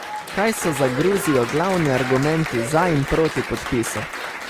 Kaj so za Gruzijo glavni argumenti za in proti podpisu?